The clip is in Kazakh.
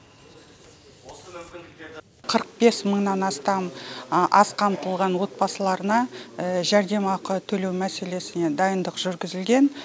қырық бес мыңнан астам аз қамтылған отбасыларына жәрдемақы төлеу мәселесіне дайындық жүргізілген